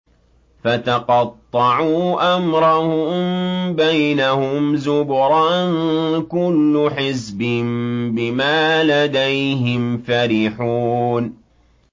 فَتَقَطَّعُوا أَمْرَهُم بَيْنَهُمْ زُبُرًا ۖ كُلُّ حِزْبٍ بِمَا لَدَيْهِمْ فَرِحُونَ